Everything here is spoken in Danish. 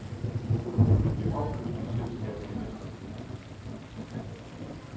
Men det opløste selskab genetableres.